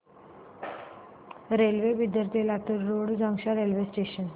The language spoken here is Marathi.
रेल्वे बिदर ते Latur road junction railway station